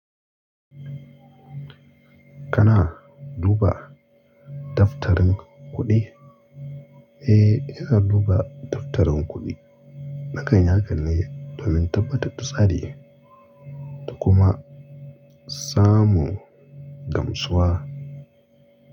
Kana duba daftarin kuɗi? Eh, ina duba daftarin kuɗi. Nakan yi hakan ne domin tabbatar da tsari da kuma samu gamsuwa.